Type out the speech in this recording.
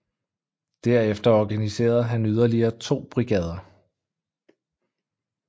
Derefter organiserede han yderligere to brigader